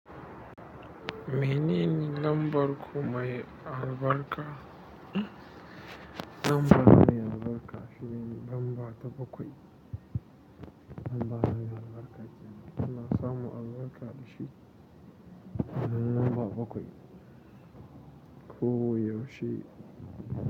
Menene lambar ku mai albarka? Lambar mai albarka shine lamba ta bakwai. Lamba mai albarka ce. Ina samun albarka da shi, nan lamba bakwai. Ko a yaushe.